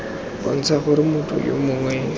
bontsha gore motho yo mongwe